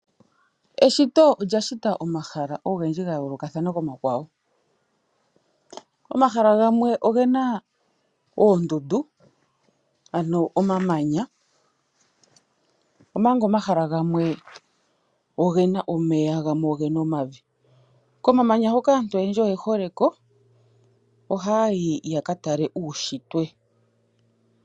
Eshito olya shita omahala ogendji ga yoolokathana komahala omakwawo. Omahala gamwe ogena oondundu ano omamanya omanga omahala gamwe ogena omeya gamwe ogena omavi Komamanya hoka aantu oyendji oyehole ko, oha yayi ya ka tale uushitwe.